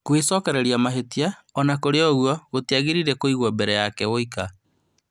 Gwĩcokereria mahĩtia ona kũrĩ ũguo gũtiagĩrĩire kũigwo mbere yake woika